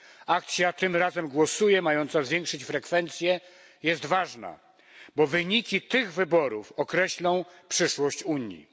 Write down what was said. Akcja Tym Razem Głosuję mająca zwiększyć frekwencję jest ważna, bo wyniki tych wyborów określą przyszłość Unii.